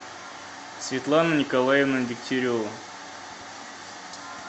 светлана николаевна дегтярева